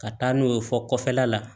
Ka taa n'u ye fɔ kɔfɛla la